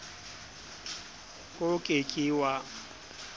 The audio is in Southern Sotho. k o ke ke wa